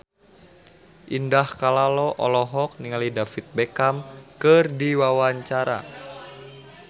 Indah Kalalo olohok ningali David Beckham keur diwawancara